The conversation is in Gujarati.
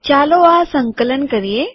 ચાલો આ સંકલન કરીએ